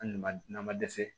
Hali ni ma na ma dɛsɛ